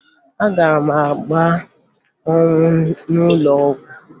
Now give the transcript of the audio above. Agara m gbaa ọgwụ n'ụlọ ọgwụ